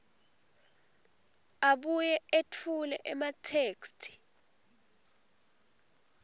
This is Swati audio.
abuye etfule ematheksthi